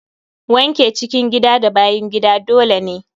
Wanke cikin gida da bayan gida dole ne.